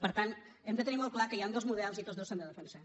per tant hem de tenir molt clar que hi han dos models i tots dos s’han de defensar